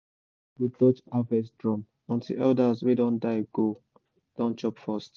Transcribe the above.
nobody go touch harvest drum until elders wey don die go don chop first.